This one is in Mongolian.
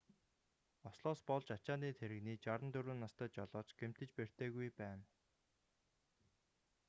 ослоос болж ачааны тэрэгний 64 настай жолооч гэмтэж бэртээгүй байна